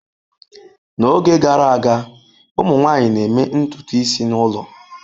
N'oge gara aga, ụmụ nwanyị na-eme ntutu isi n'ụlọ.